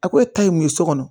A ko e ta ye mun ye so kɔnɔ